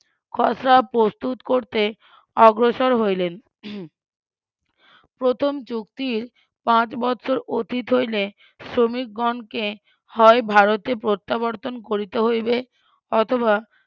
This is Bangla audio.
খসড়া প্রস্তুত করতে অগ্রসর হইলেন প্রথম চুক্তির পাঁচ বৎসর অতীত হইলে শ্রমিকগণকে হয় ভারতে প্রত্যাবর্তন করিতে হইবে অথবা